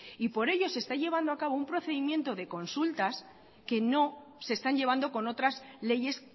por ello se está llevando a cabo un procedimiento de consultas que no se están llevando con otras leyes